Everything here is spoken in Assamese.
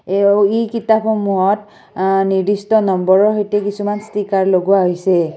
কিতাপসমূহত আঃ নিৰ্দিষ্ট নম্বৰৰ সৈতে কিছুমান ষ্টিকাৰ লগোৱা হৈছে।